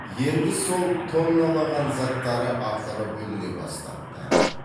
енді сол тонналаған заттары ақыры бүліне бастапты